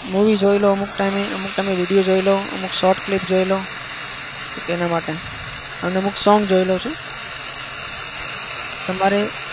movie જોઈ લઉં અમુક time એ. અમુક time એ video જોઈ લઉં, અમુક short clip જોઈ લઉં. તો તેના માટે. અને અમુક song જોઈ લઉં છું. તમારે?